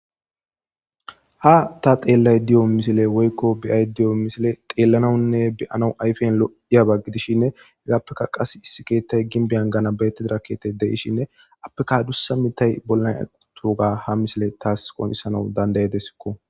Ha ta xelayida woyikko beayida deio missile xelanawune beanawu ayifyan lo'aba gidishin heyisappeka qase issi keeththay ginbian ganabayetida kethay dishin appeka adusa mithay bolan toga ha missile tas qoncisanawu dandaidesikko.